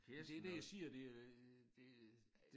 Det det jeg siger det øh det øh